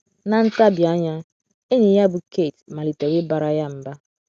Na nta bi anya, enyi ya bụ́ Kate malitere ịbara ya mba.